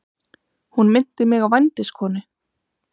Hún minnti mig á vændiskonu.